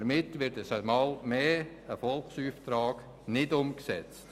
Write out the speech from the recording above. Damit wird einmal mehr ein Volksauftrag nicht umgesetzt.